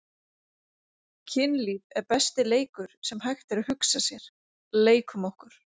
Kynlíf er besti leikur sem hægt er að hugsa sér- leikum okkur!